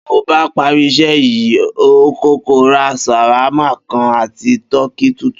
Bí mo bá parí is̩é̩ yìí, n óò kó̩kó̩ ra s̩àwámà kan àti kóòkì tútù